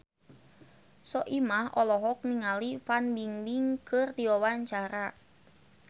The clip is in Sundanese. Soimah olohok ningali Fan Bingbing keur diwawancara